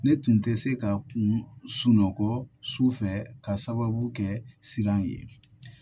Ne tun tɛ se ka kun sunɔgɔ su fɛ ka sababu kɛ siran ye